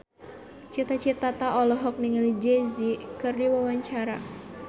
Cita Citata olohok ningali Jay Z keur diwawancara